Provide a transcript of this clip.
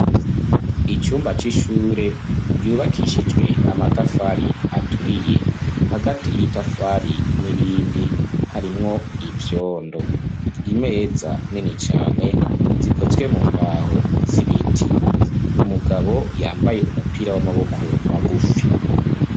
Icumba c'ishure ryubakishijwe amatafari aturiye hagati y'itafari n'irindi harimwo ibyondo imeza nini cyane zikozwe mu mbaho z'ibiti umugabo yambaye umupira w'amaboko magufi.